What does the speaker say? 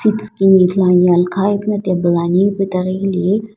kini ithuluani alakha ghi ipuna table ani ipuna hilehi --